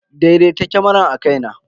Daidaita kamarar akai na.